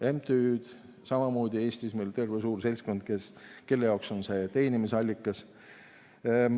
MTÜ‑d on samamoodi meil Eestis terve suur seltskond, kelle jaoks see on teenimisallikas.